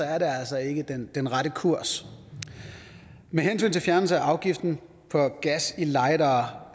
er det altså ikke den rette kurs med hensyn til fjernelse af afgiften for gas til lightere